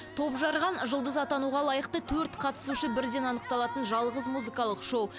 топжарған жұлдыз атануға лайықты төрт қатысушы бірден анықталатын жалғыз музыкалық шоу